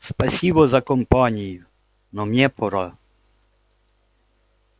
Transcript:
спасибо за компанию но мне пора